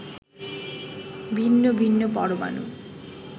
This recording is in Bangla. ভিন্ন ভিন্ন পরমাণু